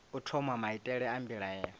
u thoma maitele a mbilaelo